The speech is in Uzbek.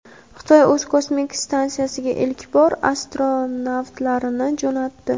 Xitoy o‘z kosmik stansiyasiga ilk bor astronavtlarni jo‘natdi.